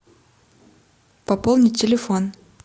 пополнить телефон